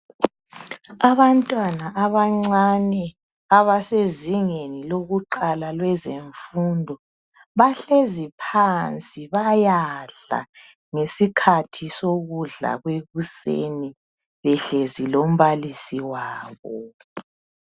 abantwana abancane abasezingeni lokuqala lwezemfundo bahlezi phansi bayadla ngesikhathi sokudla kwekuseni behlezi lombalisi wabo